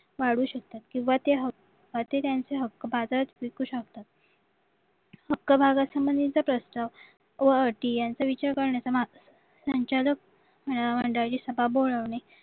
वाढू शकतात किंवा त्यांचे हक्का चे ते हक्क बाजारात विकू शकतात हक्क भागा संबंधीचा प्रस्ताव व अटी यांचा विचार करण्याचा संचालक म्हणजे सभा बोलावणे